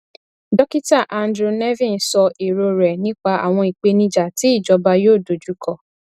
dókítà andrew nevin sọ èrò rẹ nípa àwọn ìpèníjà tí ìjọba yóò dojú kọ